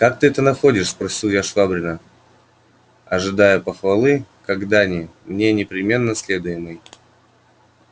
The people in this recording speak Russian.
как ты это находишь спросил я швабрина ожидая похвалы как дани мне непременно следуемой